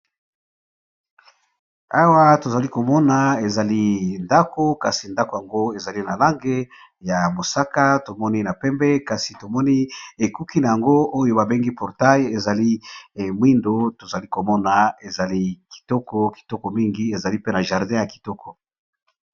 Awa tozali komona ezali ndako kasi ndako yango ezali na lange ya mosaka tomoni na pembe kasi tomoni ekuki na yango oyo babengi portail ezali emwindo tozali komona ezali kitoko kitoko mingi ezali pena jardin ya kitoko.